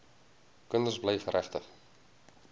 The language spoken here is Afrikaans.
kinders bly geregtig